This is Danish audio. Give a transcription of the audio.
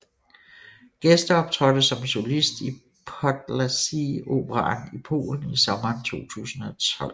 Gæsteoptrådte som solist i Podlasie Operaen i Polen i sommeren 2012